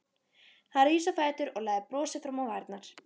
Hann rís á fætur og læðir brosi fram á varirnar.